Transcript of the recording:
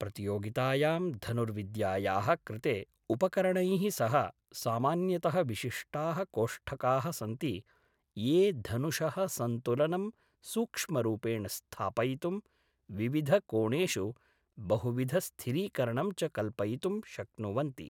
प्रतियोगितायां धनुर्विद्यायाः कृते उपकरणैः सह सामान्यतः विशिष्टाः कोष्ठकाः सन्ति ये धनुषः सन्तुलनं सूक्ष्मरूपेण स्थापयितुं, विविधकोणेषु बहुविधस्थिरीकरणं च कल्पयितुं शक्नुवन्ति।